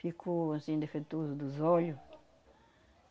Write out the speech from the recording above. Ficou, assim, defeituoso dos olho.